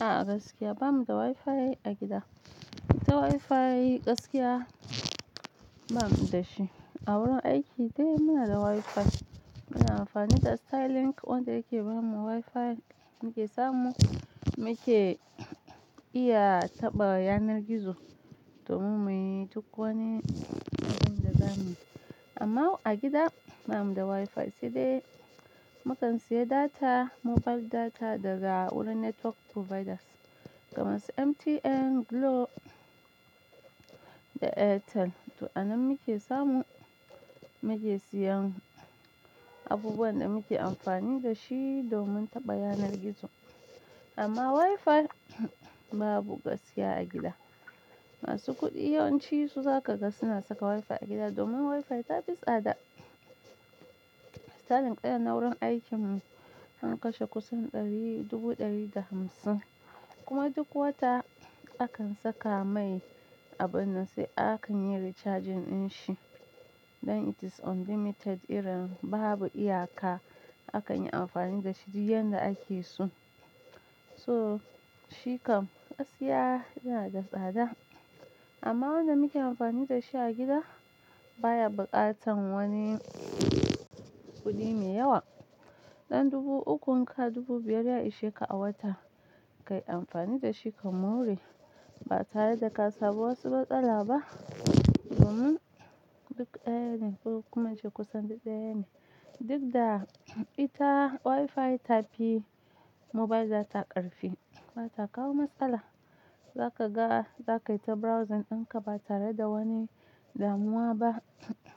A'a gaskiya bamuda Wi-Fi a gida, ta Wi-Fi gaskiya bamuda shi. A wurin aiki dai munada Wi-Fi muna amfani da Starlink wanda yake bamu Wi-Fi muke samu, muke iya taɓa yanar gizo domin muyi duk wani abunda zamuyi. Amma a gida bamuda Wi-Fi sai dai mukan siya data, mobile data daga wurin network providers kamar su MTN, Glo da Airtel. To a nan muke samu, muke siyan abubuwan da muke amfani dashi domin taɓa yanar gizo. Amma Wi-Fi babu gaskiya a gida. Masu kuɗi yawanci su zakaga suna saka Wi-Fi a gida domin Wi-Fi tafi tsada. Starlink ɗaya na wurin aikin mu, sun kashe kusan ɗari, dubu ɗari da hamsin. Kuma duk wata akan saka mai abin nan, sai akanyi recharging ɗin shi don it is unlimited irin babu iyaka. Akanyi amfani dashi duk yanda akeso. So shi kam gaskiya yanada tsada. Amma wanda muke amfani dashi a gida baya buƙatan wani kuɗi mai yawa. Dan dubu ukun ka, dubu biyar ya ishe ka a wata. Kai amfani dashi ka more ba tare da kasamu wasu matsala ba. Domin duk ɗaya ne, kuma shi kusan duk ɗaya ne. Duk da ita Wi-Fi ta fi mobile data ƙarfi bata kawo matsala. Za ka ga za ka yi ta browsing ɗin ka ba tare da wani damuwa ba.